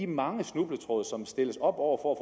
mange snubletråde som stilles op over